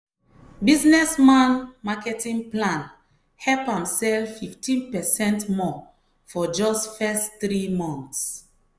businessman marketing plan help am sell 15 percent more for just first three months.